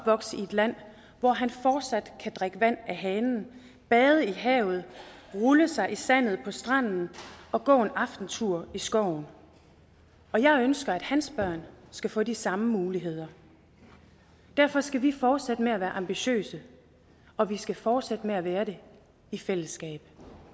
i et land hvor han fortsat kan drikke vand af hanen bade i havet rulle sig i sandet på stranden og gå en aftentur i skoven og jeg ønsker at hans børn skal få de samme muligheder derfor skal vi fortsætte med at være ambitiøse og vi skal fortsætte med at være det i fællesskab